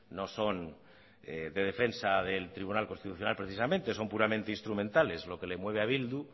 no son de defensa del tribunal constitucional precisamente son puramente instrumentales lo que le mueve a bildu